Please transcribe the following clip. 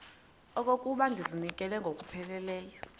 okokuba ndizinikele ngokupheleleyo